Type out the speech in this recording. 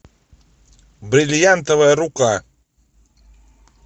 бриллиантовая рука